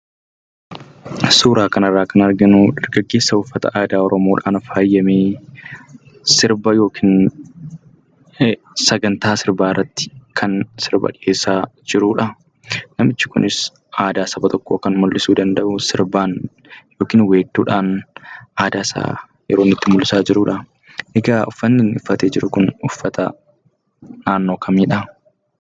Suuraa kanarraa kan arginu dargaggeessa uffata aadaa Oromoodhaan faayame: sirba yookiin sagantaa sirbaa irratti sirba dhiyeessaa kan jirudha. Namichi kunis aadaa saba tokkoo kan mul'isuu danda'u sirbaan yookiin weedduudhan aadaa isaa yeroo inni itti mul'isaa jirudha. Uffanni inni uffate jiru kun uffata naannoo kamiidha?